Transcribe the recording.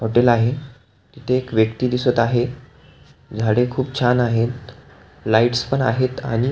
hotel आहे तिथे एक व्यक्ती दिसत आहे झाडे खुप छान आहेत लाइटस पण आहेत आणि --